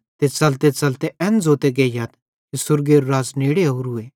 ते च़लतेच़लते एन ज़ोंते गेइयथ कि स्वर्गेरू राज़ नेड़े ओरूए